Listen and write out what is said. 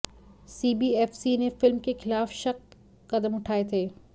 CBFC ने film के खिलाफ शख्त कदम उठाए थे